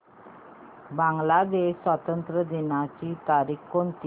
बांग्लादेश स्वातंत्र्य दिनाची तारीख कोणती